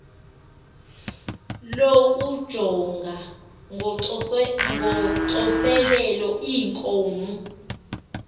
lokujonga ngocoselelo iinkonzo